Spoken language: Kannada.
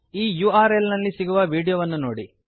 ಈ ಯುಆರ್ಎಲ್ ನಲ್ಲಿ ಸಿಗುವ ವಿಡಿಯೋ ಅನ್ನು ನೋಡಿ